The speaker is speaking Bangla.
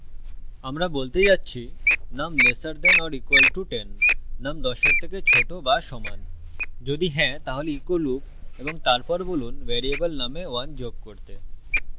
আমরা বলতে যাচ্ছি num lesser than or equal to 10 num 10 এর থেকে ছোট বা সমান যদি হ্যাঁ তাহলে echo loop এবং তারপর বলুন ভ্যারিয়েবল num we 1 যোগ করতে